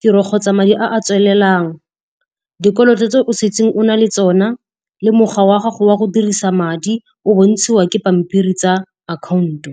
tiro kgotsa madi a a tswelelang, dikoloto tse o setse o na le tsona, le mokgwa wa gago wa go dirisa madi o bontshiwa ke pampiri tsa akhaonto.